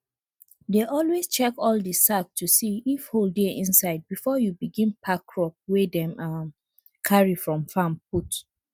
dey always check all de sack to see if hole dey inside before you begin pack crop wey dem um carry from farm put